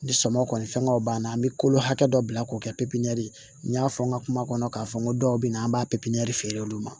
Ni sɔmɔgɔ kɔni fɛngɛw b'an na an be kolo hakɛ dɔ bila k'o kɛ pippɲinali n y'a fɔ n ka kuma kɔnɔ k'a fɔ n ko dɔw bɛ yen an b'a pipiniyɛri feere olu ma